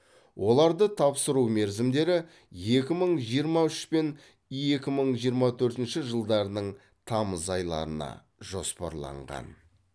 оларды тапсыру мерзімдері екі мың жиырма үш пен екі мың жиырма төртінші жылдарының тамыз айларына жоспарланған